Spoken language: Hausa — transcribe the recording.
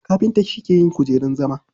Kafinta shi ke yin kujerun zama.